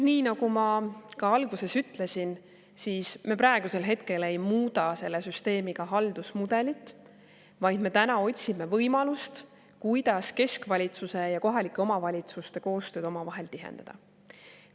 Nii nagu ma ka alguses ütlesin, me praegusel hetkel ei muuda selle süsteemiga haldusmudelit, vaid me otsime võimalust, kuidas keskvalitsuse ja kohalike omavalitsuste koostööd omavahel tihendada.